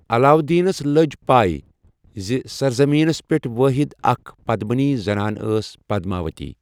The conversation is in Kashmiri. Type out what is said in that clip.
علاودیٖنس لٔج پَے زِ سرزٔمیٖنس پٮ۪ٹھ وٲحِد اَکھ پدمِنی زنان ٲس پدماؤتی۔